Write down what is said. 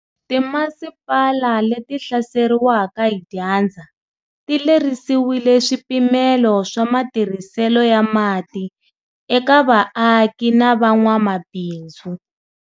Timasipala leti hlaseriwaka hi dyandza ti lerisiwile swipimelo swa matirhiselo ya mati eka vaaki na van'wamabindzu.